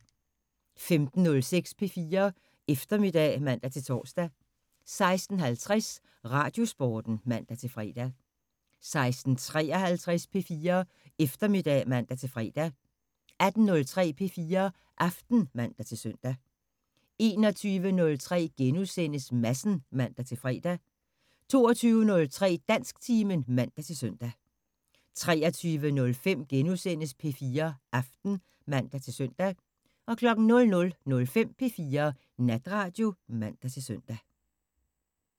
15:06: P4 Eftermiddag (man-tor) 16:50: Radiosporten (man-fre) 16:53: P4 Eftermiddag (man-fre) 18:03: P4 Aften (man-søn) 21:03: Madsen *(man-fre) 22:03: Dansktimen (man-søn) 23:05: P4 Aften *(man-søn) 00:05: P4 Natradio (man-søn)